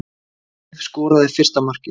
Sif skoraði fyrsta markið